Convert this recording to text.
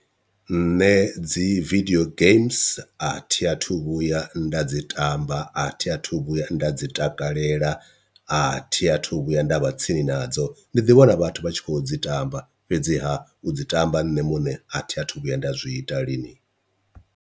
Nṋe dzi vidio geims a thi athu vhuya nda dzi tamba a thi athu vhuya nda dzi takalela athi athu vhuya nda vha tsini nadzo, ndi ḓi vhona vhathu vha tshi kho dzi tamba fhedziha u dzi tamba nṋe muṋe a thi athu vhuya nda zwi ita lini.